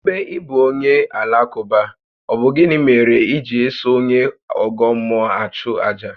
Ébé ị bụ onye Alakụba, ọ bụ gịnị mèrè iji eso onye ọ́gọ́ mmụọ achu àjà?